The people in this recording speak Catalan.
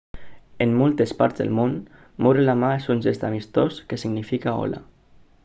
en moltes parts del món moure la mà és un gest amistós que significa hola